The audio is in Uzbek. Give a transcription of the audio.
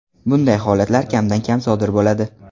Bunday holatlar kamdan kam sodir bo‘ladi.